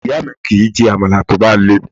Ìyá mi kì í jẹ Àmàlà tó bá le.